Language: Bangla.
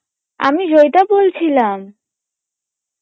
আমি জয়ীতা বলছিলাম